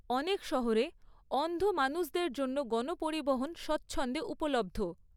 অনেক শহরে অন্ধ মানুষদের জন্য গণপরিবহন স্বচ্ছন্দে উপলব্ধ।